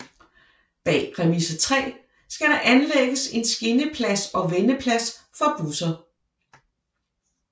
Bag Remise 3 skal der anlægges en skinneplads og vendeplads for busser